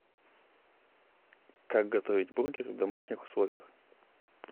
как готовить бургер в домашних условиях